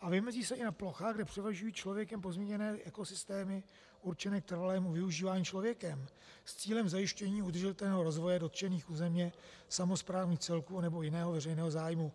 a vymezí se i na plochách, kde převažují člověkem pozměněné ekosystémy určené k trvalému využívání člověkem s cílem zajištění udržitelného rozvoje dotčených územně samosprávných celků anebo jiného veřejného zájmu.